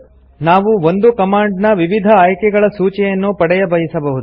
ನಾವು ಒಂದು ಕಮಾಂಡ್ ನ ವಿವಿಧ ಆಯ್ಕೆಗಳ ಸೂಚಿಯನ್ನು ಪಡೆಯಬಯಸಬಹುದು